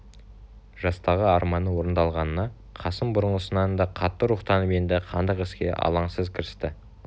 жастағы арманы орындалғанына қасым бұрынғысынан да қатты рухтанып енді хандық іске алаңсыз кірісті